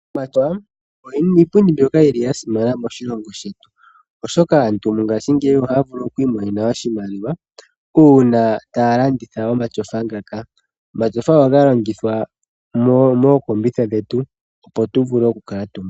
Omashofa iipundi mbyoka ya simana moshilongo shetu, oshoka aantu mongashingeyi ohaya vulu oku imonena oshimaliwa uuna taya landitha omashofa ngaka. Omashofa ohaga longithwa mookombitha dhetu opo tu vule okukutumba.